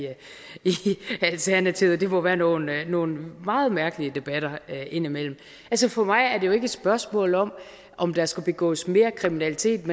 alternativet det må være nogle være nogle meget mærkelige debatter indimellem altså for mig er det jo ikke et spørgsmål om om der skal begås mere kriminalitet